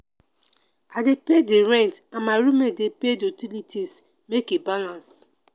i dey pay di rent and my roommate dey pay di utilities make e balance.